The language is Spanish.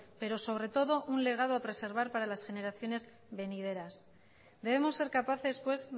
pero sobre todo un legado a preservar para las generaciones venideras debemos ser capaces pues